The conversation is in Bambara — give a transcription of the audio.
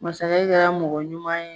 Masakɛ kɛra ye mɔgɔ ɲuman ye.